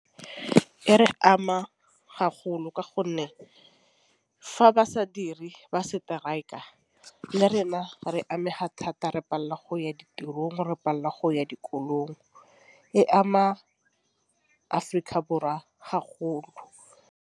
E re ama ka gonne fa ba sa diri ba strike-a le rena re amega thata re pallwa go ya ditirong re pallwa go ya dikolong e ama Aforika Borwa .